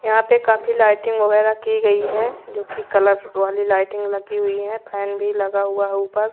यहां पे काफी लाइटिंग वगैरह की गई है जो कि कलरफूल वाली लाइटिंग लगी हुई है फैन भी लगा हुआ है ऊपर।